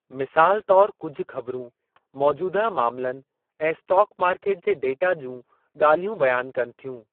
मिसालु तौरु कुझु ख़बरूं मौजूदह मामिलनि ऐं स्टॉक मार्केट जे डेटा जूं ॻाल्हियूं बयानु कनि थियूं।